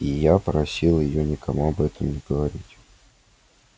и я просил её никому об этом не говорить